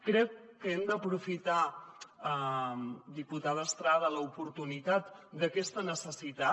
crec que hem d’aprofitar diputada estrada l’oportunitat d’aquesta necessitat